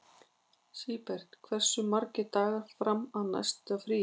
Sigbert, hversu margir dagar fram að næsta fríi?